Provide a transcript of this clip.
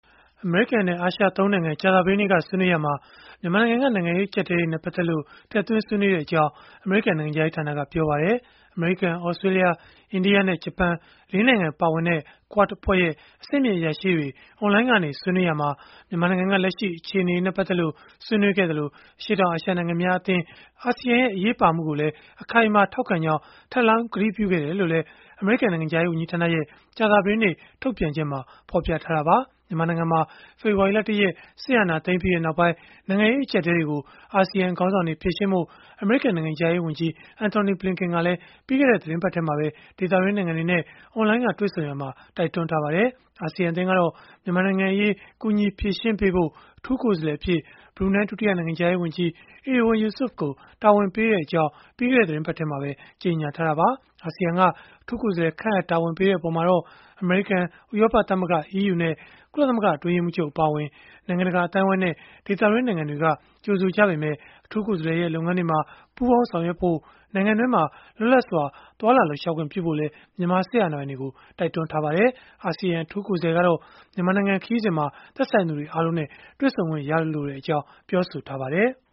အမေရိကန်နဲ့ အာရှ ၃ နိုင်ငံ ကြာသပတေးနေ့ကဆွေးနွေးရာမှာ မြန်မာနိုင်ငံက နိုင်ငံရေး အကျပ်အတည်းတွေနဲ့ ပတ်သက်လို့ ဆွေးနွေးခဲ့ကြောင်း အမေရိကန် နိုင်ငံခြားရေးဌာနက ပြောပါတယ်။ အမေရိကန်၊ သြစတြေးလျ၊ အိန္ဒိယနဲ့ ဂျပန် ၄ နိုင်ငံ ပါဝင်တဲ့ QUAD အဖွဲ့ရဲ့ အဆင့်မြင့်အရာရှိတွေ အွန်လိုင်းကနေ ဆွေးနွေးရာမှာ မြန်မာနိုင်ငံက လက်ရှိအခြေအနေတွေနဲ့ ပတ်သက်လို့ ဆွေးနွေးခဲ့သလို၊ အရှေ့တောင်အာရှ နိုင်ငံများအသင်း (ASEAN) ရဲ့ အရေးပါမှုကိုလည်း အခိုင်အမာ ထောက်ခံကြောင်း ထပ်လောင်းကတိပြုခဲ့တယ်လို့လည်း အမေရိကန် နိုင်ငံခြားရေး ဝန်ကြီးဌာနရဲ့ ကြာသပတေးနေ့ ထုတ်ပြန်ချက်မှာ ဖော်ပြထားတာပါ။ မြန်မာနိုင်ငံမှာ ဖေဖော်ဝါရီလ ၁ ရက် စစ်အာဏာသိမ်းပြီးနောက်ပိုင်း နိုင်ငံရေး အကျပ်အတည်းတွေကို အာဆီယံ ခေါင်းဆောင်တွေ ဖြေရှင်းဖို့ အမေရိကန် နိုင်ငံခြားရေးဝန်ကြီး Antony Blinken ကလည်း ပြီးခဲ့တဲ့ သီတင်းပတ်ထဲမှာပဲ ဒေသတွင်းနိုင်ငံတွေနဲ့ အွန်လိုင်းက တွေ့ဆုံရာမှာ တိုက်တွန်းထားပါတယ်။ အာဆီယံ အသင်းကတော့ မြန်မာနိုင်ငံအရေး ကူညီဖြေရှင်းပေးဖို့ အထူးကိုယ်စားလှယ်အဖြစ် ဘရူနိုင်း ဒုတိယနိုင်ငံခြားရေးဝန်ကြီး Erywan Yusof ကို တာဝန်ပေးခဲ့ကြောင်း ပြီးခဲ့တဲ့ သီတင်းပတ်ထဲမှာပဲ ကြေညာထားတာပါ။ အာဆီယံက အထူးကိုယ်စားလှယ် ခန့်အပ်တာဝန်ပေးလိုက်တဲ့ အပေါ်မှာတော့ အမေရိကန်၊ ဥရောပသမဂ္ဂ (EU) နဲ့ ကုလသမဂ္ဂ အတွင်းရေးမှူးချုပ် အပါအဝင် နိုင်ငံတကာ အသိုင်းအဝန်းနဲ့ ဒေသတွင်း နိုင်ငံတွေက ကြိုဆိုခဲ့ကြပေမဲ့ အထူးကိုယ်စားလှယ်ရဲ့ လုပ်ငန်းတွေမှာ ပူးပေါင်း ဆောင်ရွက်ဖို့ နိုင်ငံတွင်းမှာ လွတ်လပ်စွာ သွားလာလှုပ်ရှားခွင့် ပြုဖို့လည်း မြန်မာစစ်အာဏာပိုင်တွေကို တိုက်တွန်းထားကြပါတယ်။ အာဆီယံ အထူးကိုယ်စားလှယ်ကတော့ မြန်မာနိုင်ငံ ခရီးစဉ်မှာ သက်ဆိုင်သူတွေ အားလုံးနဲ့ တွေ့ဆုံခွင့်ရလိုကြောင်း ပြောဆိုထားပါတယ်။